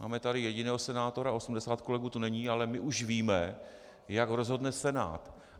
Máme tady jediného senátora, 80 kolegů tu není, ale my už víme, jak rozhodne Senát.